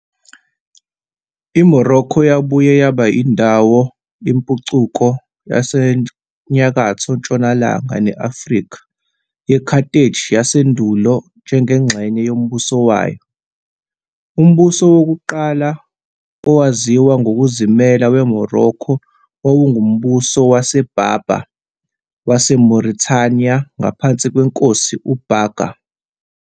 IMorocco yabuye yaba indawo yezempucuko zasenyakatho-ntshonalanga ne-Afrika yeCarthage yasendulo njengengxenye yombuso wayo. Umbuso wokuqala wokuqala owaziwa ngokuzimela weMorocco wawungumbuso waseBerber waseMauretania ngaphansi kwenkosi uBaga.